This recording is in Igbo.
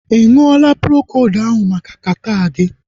Ịṅụla Procold ahụ maka kata gị?